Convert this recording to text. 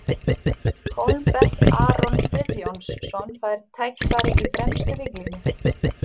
Hólmbert Aron Friðjónsson fær tækifæri í fremstu víglínu.